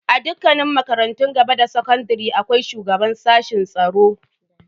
A dukkanin makarantun gaba da sakandare akwai shugaban sashen tsaro.